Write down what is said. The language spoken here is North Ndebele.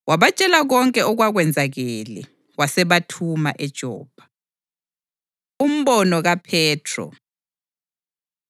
Wabatshela konke okwakwenzakele, wasebathuma eJopha. Umbono KaPhethro